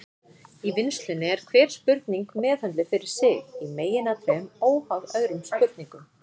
Í vinnslunni er hver spurning meðhöndluð fyrir sig, í meginatriðum óháð öðrum spurningum.